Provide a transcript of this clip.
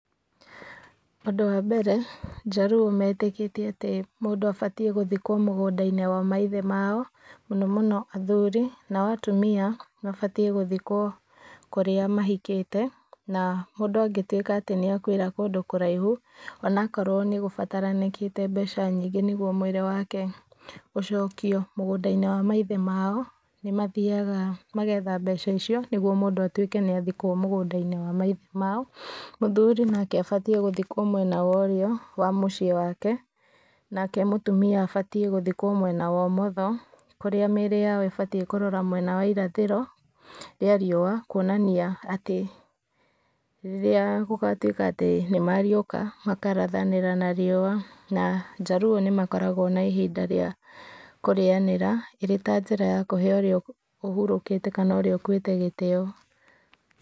Ũndũ wa mbere njaruo metĩkĩtie atĩ mũndũ abatiĩ gũthikwo thĩĩnĩe wa mũgũnda wa maithe mao mũno mũno athuri nao atumia mabatiĩ gũthĩkwo kũrĩa mahikĩte na mũndũ angĩtũĩka atĩ nĩakuĩra kũndũ kũraihu ona akorwo nĩgũbataranĩkĩte mbeca nyingĩ nĩgũo mũĩri wake ũcokio mũgũnda-inĩ wa maithe mao nĩmathiaga magetha mbeca icio nĩgũo mũndũ atũike nĩathikwo mũgũnda-inĩ wa maithe mao , mũthuri nake abatĩe gũthikwo mwena wa ũrĩo wa mũciĩ wake nake mũtumia abatiĩ gũthikwo mwena wa ũmotho kũrĩa mĩĩrĩ yao ĩbatiĩ kũrora mũena wa irathĩro rĩa riũa kũonania atĩ rĩrĩa gũgatũĩka atĩ nĩmariũka makarathanĩra na riũa na njaruo nĩmakoragwo na ihinda rĩa kũrĩanĩra irĩ ta njĩra ya kũhee ũrĩa ũhurũkĩte kana ũrĩa ũkuĩte gĩtĩyo.